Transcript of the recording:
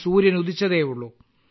സൂര്യൻ ഉദിച്ചതേയുള്ളു